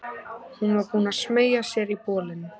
Hún var búin að smeygja sér í bolinn.